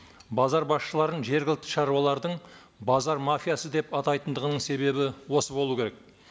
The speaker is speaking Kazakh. базар басшыларын жергілікті шаруалардың базар мафиясы деп атайтындығының себебі осы болу керек